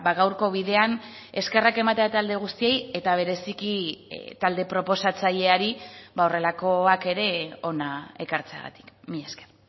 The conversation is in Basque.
gaurko bidean eskerrak ematea talde guztiei eta bereziki talde proposatzaileari horrelakoak ere hona ekartzeagatik mila esker